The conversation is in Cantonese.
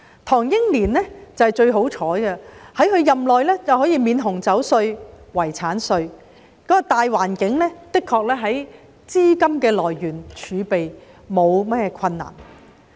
唐英年是最幸運的一位，他任內可以取消紅酒稅和遺產稅，當時的大環境無論是資金來源或儲備上都沒有困難。